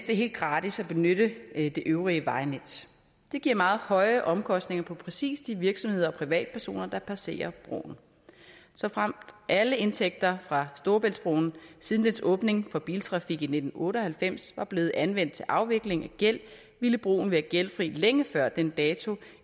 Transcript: er helt gratis at benytte det øvrige vejnet det giver meget høje omkostninger for præcis de virksomheder og privatpersoner der passerer broen såfremt alle indtægter fra storebæltsbroen siden dens åbning for biltrafik i nitten otte og halvfems var blevet anvendt til afvikling af gæld ville broen være gældfri længe før den dato